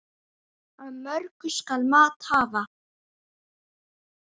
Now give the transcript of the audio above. Af mörgu skal mat hafa.